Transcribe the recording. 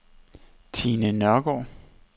Tine Nørregaard